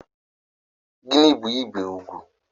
Gịnị bu ibé ugwu?